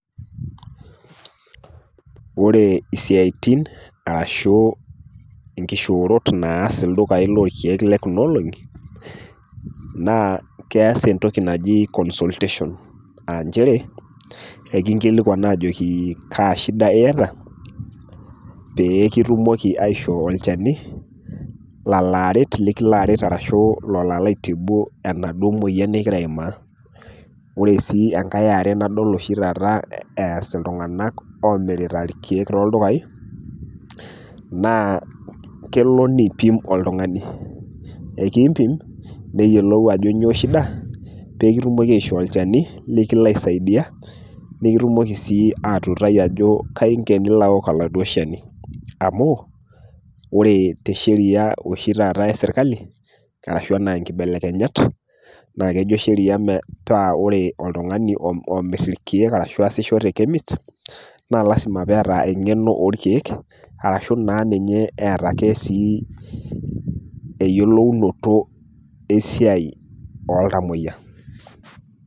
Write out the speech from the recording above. Ore isiaitin arashu inkishorot naas ildukain lolkeek le Kuna olong'i, naa keas entoki naji consultation nchere, kiinkilikwan ajoki Kaa shida iata pee kitumoki aishoo olchani lolaaret arashu lekilo aret ashu lekilo aitibu enaduo moyian ningira aima. Ore oshi enkai e are nadol oshi taata eas iltung'ana omirita ilkeek toldukai, naa kelo neipim oltung'ani, ekiimpim pee eyiolou ajo nyoo pee etumoki aishoo olchani lekilo aisidai, nekitumoki sii atuutaki ejo Kai inko pee eli aoku oladuo Shani. Amu ore te Sheria oshi taata e serkali karashu ana inkibelekenyat , naa kejo Sheria ore oltung'ani oomir ilkeek ashu easisho te chemist na lasima pee eata eng'eno olkeek ashu duo ninye eata ake sii eyolounoto esiai oltamwoyia.